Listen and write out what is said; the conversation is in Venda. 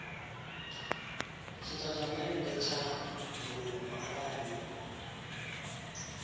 tshitatamennde tsha mbulungo arali yo